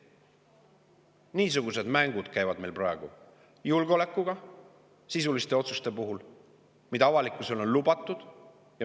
Niisugused mängud käivad meil praegu julgeolekuga, sisuliste otsuste puhul, mida avalikkusele on lubatud.